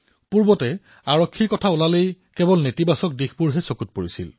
পূৰ্বে আৰক্ষীৰ বিষয়ে চিন্তা কৰিলেই মনলৈ নেতিবাচক চিন্তা আহিছিল